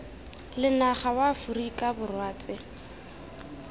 lenaga wa aforika borwa tse